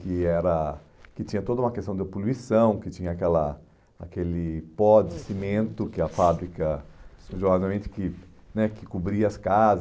que era que tinha toda uma questão de poluição, que tinha aquela aquele pó de cimento que a fábrica, né que cobria as